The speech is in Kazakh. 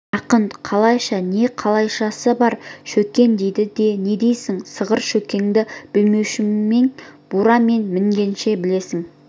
жақын қалайша не қалайшасы бар шөккен дейді не дейсің сығыр шөккенді білмеушімен бура мен мінгенше білесің